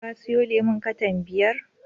Ka siyon lemon katan biyar